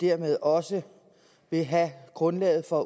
dermed også vil have grundlaget for